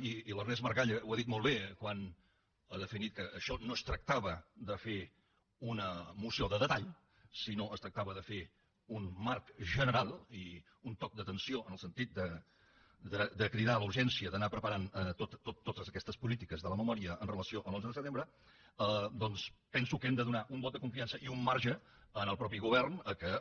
i l’ernest maragall ho ha dit molt bé quan ha definit que això no es tractava de fer una moció de detall sinó que es tractava de fer un marc general i un toc d’atenció en el sentit de cridar a la urgència d’anar preparant totes aquestes polítiques de la memòria amb relació a l’onze de setembre doncs penso que hem de donar un vot de confiança i un marge al mateix govern perquè